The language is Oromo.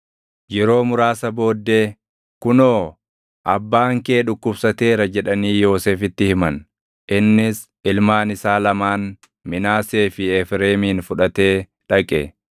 Yeroo muraasa booddee, “Kunoo, abbaan kee dhukkubsateera” jedhanii Yoosefitti himan. Innis ilmaan isaa lamaan Minaasee fi Efreemin fudhatee dhaqe.